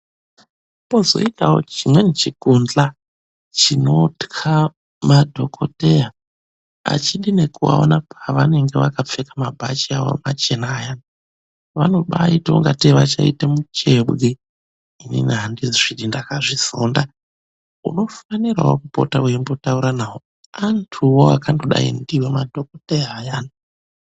Pozoitawo chimweni chikundla chinotya madhogodheya. Achidi nekuaona pavanenge vakapfeka mabhachi awo machena aya. Vanobaaite ungatei vachaita muchebwe. Inini andizvidi, ndakazvizonda. Unofanirawo kupota weimbotaura nawo, antuwo akangodai ndiwo madhokodheya ayani.